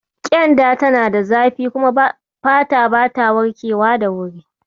Ƙyenda tana da zafi kuma fata bata warkewa da wuri.